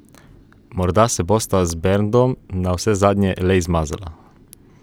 Morda se bosta z Berndom navsezadnje le izmazala.